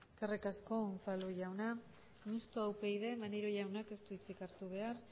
eskerrik asko unzalu jauna mistoa upyd maneiro jaunak ez du hitzik hartu behar